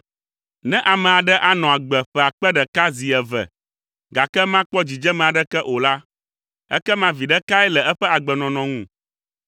Ne ame aɖe anɔ agbe ƒe akpe ɖeka zi eve gake makpɔ dzidzeme aɖeke o la, ekema viɖe kae le eƒe agbenɔnɔ ŋu?